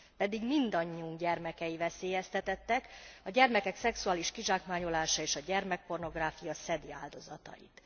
Pedig mindannyiunk gyermekei veszélyeztetettek, a gyermekek szexuális kizsákmányolása és a gyermekpornográfia szedi áldozatait.